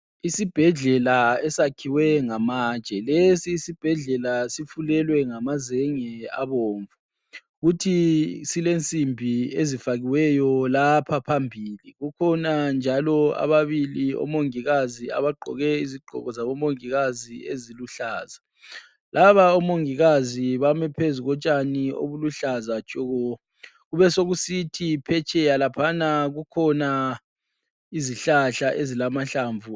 Isibhedlela esakhiwe ngamatshe lesi isibhedlela sifulelwe ngamazenge abomvu futhi silensimbi ezifakiweyo lapha phambili ukhona njalo ababili omongikazi abagqoke izigqoko zabo mongikazi eziluhlaza, laba amongikazi bami phezu kotshani obuhluza tshoko kube sokusithi phetsheya laphana kukhona izihlahla ezilamahlamvu.